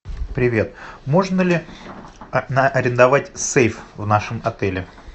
привет можно ли арендовать сейф в нашем отеле